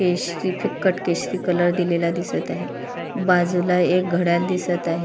केशरी फिक्कट केशरी कलर दिलेला दिसत आहे बाजूला एक घडयाळ दिसत आहे.